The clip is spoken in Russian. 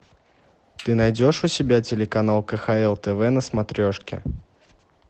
ты найдешь у себя телеканал кхл тв на смотрешке